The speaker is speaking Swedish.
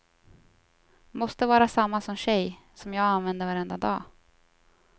Måste vara samma som tjej, som jag använder varenda dag.